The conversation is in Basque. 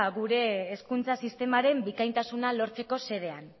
gure hezkuntza sistemaren bikaintasuna lortzeko xedean